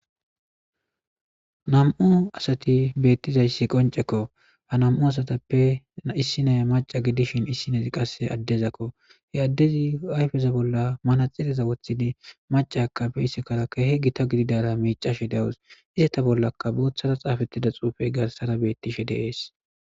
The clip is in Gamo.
nam7u asati beettizayssi qoncekko ha nam7u asatappeissinaya maca gidishin issinaz qasse addezakko he addezi ayfeza bolla mana xileza woththidi maca akafe issikarakka he gita gididara miicashe dawus isata bollaka booththara xaafettida xuufey garsara beettishe deees